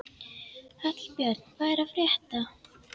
Hallbjörn, hvað er að frétta?